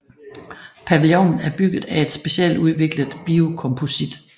Pavillonen er bygget af et specialudviklet biokomposit